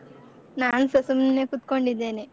ನಾನ್ಸ ಸುಮ್ಮ್ನೆ ಕುತ್ಕೊಂಡಿದ್ದೇನೆ.